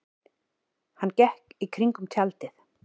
Hann gekk í kringum tjaldið.